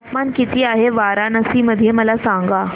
तापमान किती आहे वाराणसी मध्ये मला सांगा